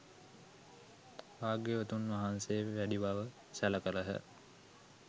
භාග්‍යවතුන් වහන්සේ වැඩි බව සැළ කළහ.